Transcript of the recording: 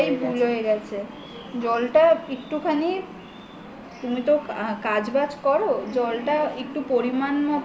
ওটাই ভুল হয়ে গেছে জল টা একটুখানি তুমি তো কাজ বাজ কর জলটা একটু পরিমান মত